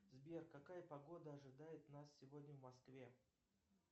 сбер какая погода ожидает нас сегодня в москве